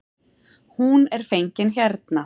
Hún er fengin hérna.